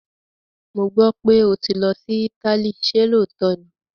Mo gbọ́ pé ó ti lọ sí Italy, ṣé lóòótọ́ ni?